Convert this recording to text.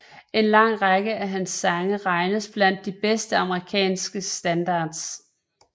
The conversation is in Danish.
En lang række af hans sange regnes blandt de bedste amerikanske standards